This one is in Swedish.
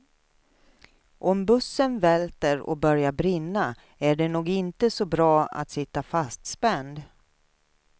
Om bussen välter och börjar brinna är det nog inte så bra att sitta fastspänd.